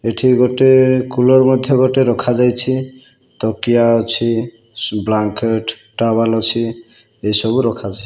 ଏଠି ଗୋଟେ କୁଲର ମଧ୍ୟ ଗୋଟେ ରଖାଯାଇଛି ତକିଆ ଅଛି ସୁ ବ୍ଲାଙ୍କେଟ ଟାୱେଲ୍ ଅଛି ଏହି ସବୁ ରଖାହେଇଛି।